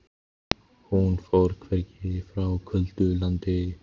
Hún fór hvergi, frá köldu landi.